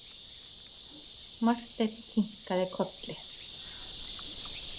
Marteinn kinkaði kolli.